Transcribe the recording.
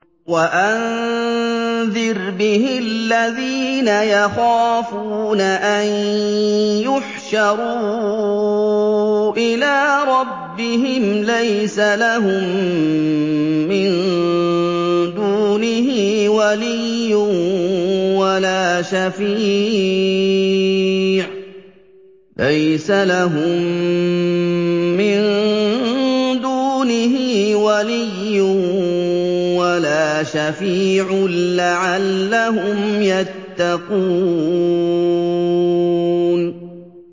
وَأَنذِرْ بِهِ الَّذِينَ يَخَافُونَ أَن يُحْشَرُوا إِلَىٰ رَبِّهِمْ ۙ لَيْسَ لَهُم مِّن دُونِهِ وَلِيٌّ وَلَا شَفِيعٌ لَّعَلَّهُمْ يَتَّقُونَ